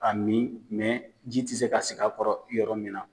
Ka mi ji te se ka sigi a kɔrɔ yɔrɔ min na.